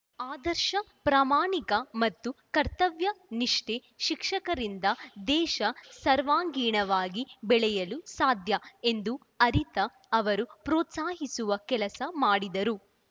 ಆದರ್ಶ ಪ್ರಾಮಾಣಿಕ ಮತ್ತು ಕರ್ತವ್ಯ ನಿಷ್ಠ ಶಿಕ್ಷಕರಿಂದ ದೇಶ ಸರ್ವಾಂಗೀಣವಾಗಿ ಬೆಳೆಯಲು ಸಾಧ್ಯ ಎಂದು ಅರಿತ ಅವರು ಪ್ರೋತ್ಸಾಹಿಸುವ ಕೆಲಸ ಮಾಡಿದರು